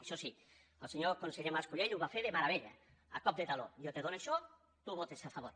això sí el conseller mas colell ho va fer de meravella a cop de taló jo te dono això tu hi votes a favor